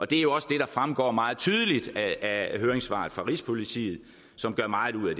det er jo også det der fremgår meget tydeligt af høringssvaret fra rigspolitiet som gør meget ud